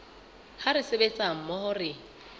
ha re sebetsa mmoho re